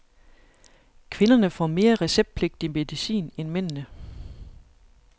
Kvinderne får mere receptpligtig medicin end mændene.